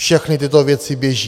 Všechny tyto věci běží.